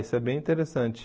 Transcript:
Isso é bem interessante.